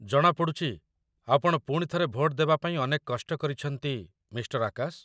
ଜଣାପଡ଼ୁଛି, ଆପଣ ପୁଣିଥରେ ଭୋଟ ଦେବାପାଇଁ ଅନେକ କଷ୍ଟ କରିଛନ୍ତି, ମିଃ. ଆକାଶ